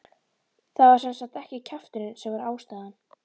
Það var sem sagt ekki kjafturinn sem var ástæðan.